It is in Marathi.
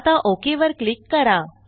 आता ओक वर क्लिक करा